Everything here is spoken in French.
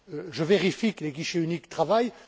je vérifie que les guichets uniques travaillent.